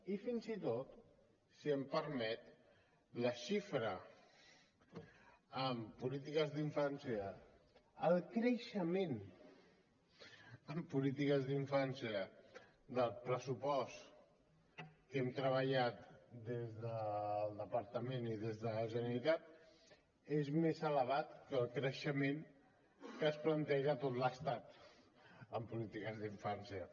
i fins i tot si em permet la xifra en polítiques d’infància el creixement en polítiques d’infància del pressupost que hem treballat des del departament i des de la generalitat és més elevat que el creixement que es planteja en tot l’estat en polítiques d’infància